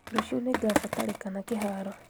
Rũciũ nĩngabatarikana kĩharo